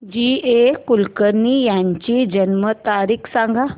जी A Kulkarni यांची जन्म तारीख सांग